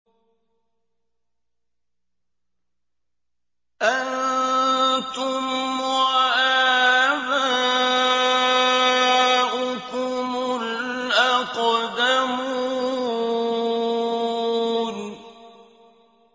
أَنتُمْ وَآبَاؤُكُمُ الْأَقْدَمُونَ